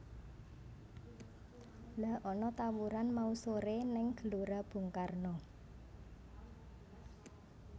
Lha ana tawuran mau sore ning Gelora Bung Karno